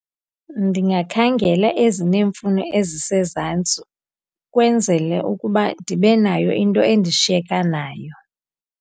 Ndingakhangela ezineemfuno ezisezantsi, kwenzele ukuba ndibe nayo into endishiyeka nayo.